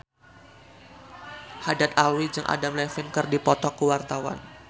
Haddad Alwi jeung Adam Levine keur dipoto ku wartawan